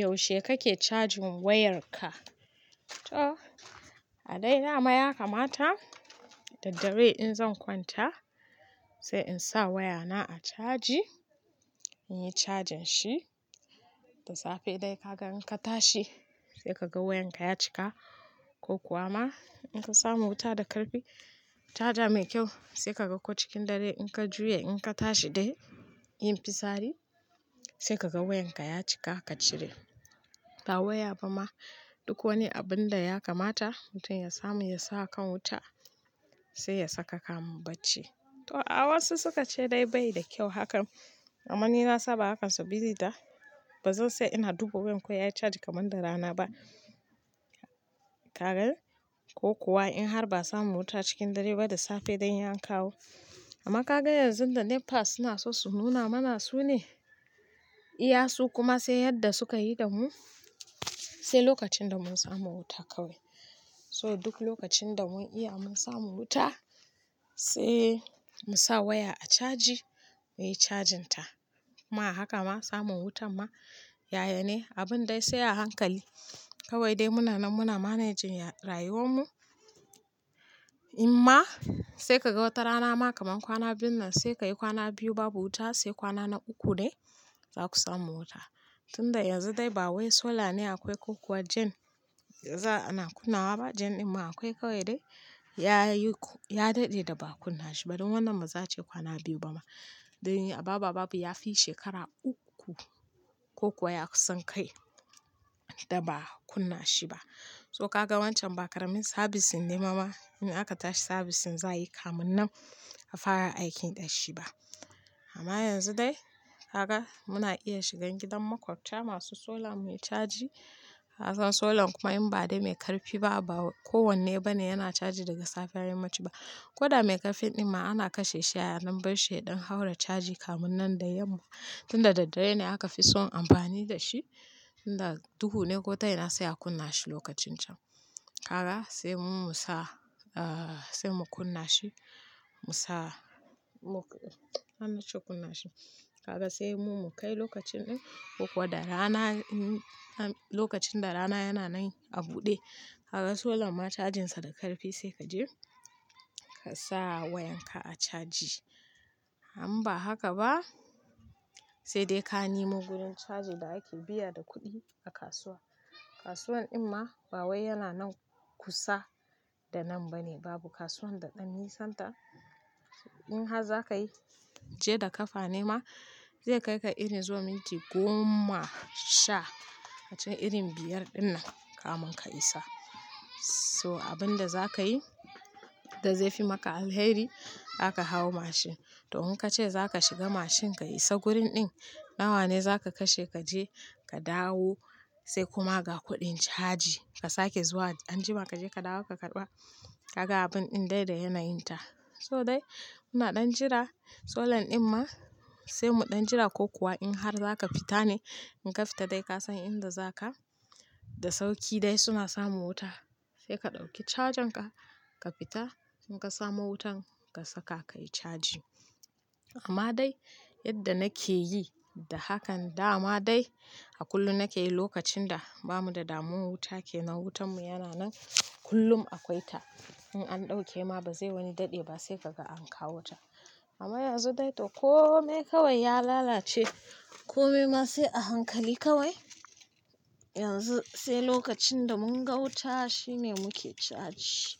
Yaushe kake cajin wayarka? To a dai dama ya kamata, daddare in zan kwanta sai in sa wayana a caji, in yi cajin shi, da safe dai kaga in ka tashi sai ka ga wayanka ya cika. Ko kuwa ma in ka samu wuta da karfi, caja mai kyau sai ka ga ko cikin dare in ka juya in ka tashi dai yin fisari sai ka ga wayanka ya cika ka cire. Ta waya ba ma duk wani abun da ya kamata mutum ya samu ya sa a kan wuta sai ya saka kamu bacci. To, wasu suka ce dai bai da kyau hakan amma ni na saba hakansu biri da ba zan sai ina dubo wayar ko yayi caji kamar da rana ba. Ka gan? Ko kuwa in har ba'a samu wuta cikin dare ba da safe dai yan kawo. Amma ka ga yanzu da NEPA suna so su nuna mana su ne, iya su kuma sai yadda suka yi da mu sai lokacin da mun samu wuta kawai. So duk lokacin da mun iya mun samu wuta sai mu sa waya a caji muyi cajin ta. Ma haka ma samun wutan ma yaya ne abun dai sai a hankali kawai dai muna nan muna managing rayuwar mu. In ma sai ka ga wata rana ma kaman kwana biyun nan sai ka yi kwana biyu babu wuta sai kwana na uku dai za ku samu wuta. Tunda yanzu dai ba wai solar ne akwai ko kuwa jen, yanzu ana kunna wa ba jen in ma akwai kawai dai yayi ku ya dade da ba'a kunna shi ba, dan wannan ma za ce kwana biyu ba ma. Da ababa babu yafi shekara uku ko kuwa ya sun kai da ba'a kunna shi ba. So ka ga wancan bakarin sabisin ne ma ma in aka tashi sabisin zayi kamu nan a fara aikin dashi ba. Amma yanzu dai ka ga muna iya shigan gidan makwabcya masu solar mai caji, ka san solar kuma in ba dai mai karfi ba, ba kowanne ba ne yana caji daga safiyar yammaci ba. Koda mai karfin in ma ana kashe shi yayin binshi don haura caji kamu nan da yamma. Tunda daddare ne aka fi son amfani da shi, tunda duhu ne gotan yana sai a kunna shi lokacin can. Ka ga sai mu sa, ahh, sai mu kunna shi, mu sa, mu, an nace kunna shi. Ka ga sai mu mu kai lokacin din ko kuwa da rana, lokacin da rana yana nan a buɗe. Ka ga solar ma cajin sa da karfi sai kaje ka sa wayan ka a caji. In ba haka ba sai dai ka nemo wurin cajo da ake biya da kuɗi a kasuwa. Kasuwan idn ma ba wai yana nan kusa da nan ba ne babu kasuwan da ɗan nisan ta. In har zakayi je da kafa ne ma zai kai ka iri zuwa minti goma sha hacin irin biyar dinnan kamun ka isa. So abun da zakayi da zai fi maka alheri aka hau mashin. To in kace zaka shiga mashin ka isa gurin din nawa ne zaka kashe kaje ka dawo sai kuma ga kuɗin caji ka sake zuwa anjima kaje ka dawo ka karɓa ka ga abun din dai da yanayin ta. So dai muna ɗan jira solar in ma sai mu ɗan jira ko kuwa in har zaka fita ne in ka fita dai ka san inda zaka da sauki dai suna samun wuta sai ka ɗauki cajin ka, ka fita in ka samu wutan ka saka kayi caji. Amma dai yadda nake yi da hakan da ma dai a kullum nake yi lokacin da bamu da damu wuta kenan wutan mu yana nan kullum akwai ta. In an ɗauke ma ba zai wani dade ba sai kaga an kawo ta. Amma yanzu dai to kome kawai ya lalace kome ma sai a hankali kawai. Yanzu sai lokacin da mun gauta shine muke caji.